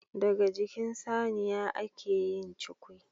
Daga jikin Saniya ake yin cukwi